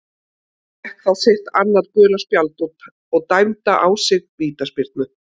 Hann fékk þá sitt annað gula spjald og dæmda á sig vítaspyrnu.